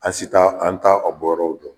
An si t'a an t'a a bɔ yɔrɔw dɔn.